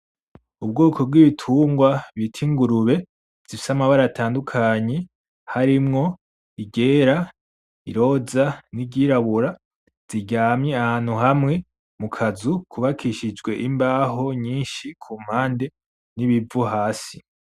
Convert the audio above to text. Ubwoko bw'ibitungwa bita ingurube zifise amabara atandukanye, harimwo iryera , iroza, n'iryirabura ziryamye ahantu hamwe mu kazu kubakishijwe imbaho nyinshi kumpande n'ibivu hasi.